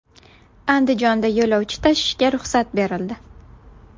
Andijonda yo‘lovchi tashishga ruxsat berildi.